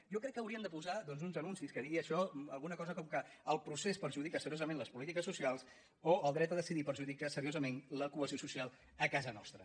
jo crec que haurien de posar uns anuncis que diguin això alguna cosa com que el procés perjudica seriosament les polítiques socials o el dret a decidir perjudica seriosament la cohesió social a casa nostra